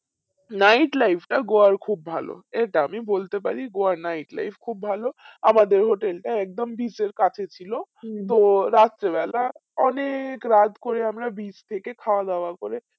night life টা গোয়ায় খুব ভালো এটা আমি বলতে পারি গোয়ার night life খুব ভালো আমাদের hotel টা একদম beach এর কাছে ছিল তো রাত্রে বেলা অনেক রাত করে আমরা beach থেকে খাওয়া দাওয়া করে